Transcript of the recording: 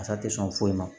Fasa tɛ sɔn foyi ma